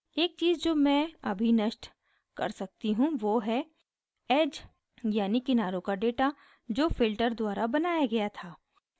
एक चीज़ जो मैं अभी नष्ट कर सकती हूँ वो हैं edge यानी किनारों का data जो filter द्वारा बनाया गया है